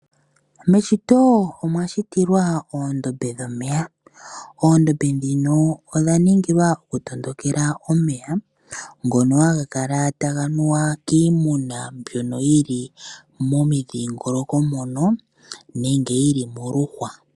Meshito omwashitilwa oondombe dhomeya, oondombe dhika odhaningilwa okutondokela omeya ngoka haga kala taga nuwa kiimuna mbyoka yili momiidhingoloko moka nenge yili moluhwa.